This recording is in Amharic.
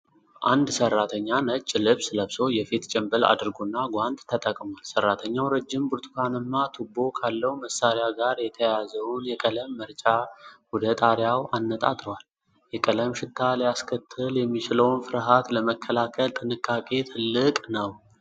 አንድ ሠራተኛ ነጭ ልብስ ለብሶ፣ የፊት ጭምብል አድርጎና ጓንት ተጠቅሞአል። ሠራተኛው ረጅም ብርቱካንማ ቱቦ ካለው መሳሪያ ጋር የተያያዘውን የቀለም መርጫ ወደ ጣሪያው አነጣጥሯል። የቀለም ሽታ ሊያስከትል የሚችለውን ፍርሃት ለመከላከል ጥንቃቄው ትልቅ ነው።